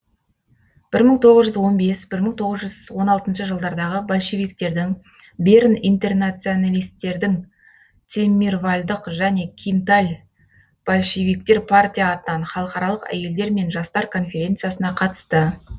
бір мың тоғыз жүз он бес бір мың тоғыз жүз он алтыншы жылдардағы большевиктердің берн интернационалисттердің цеммирвальдық және кинталь большевиктер партия атынан халықаралық әйелдер мен жастар коференциясына қатысты